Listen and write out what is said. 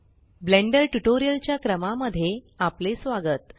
blender tutorial च्या क्रमा मध्ये आपले स्वागत